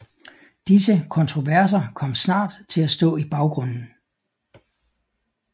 Disse kontroverser kom snart til at stå i baggrunden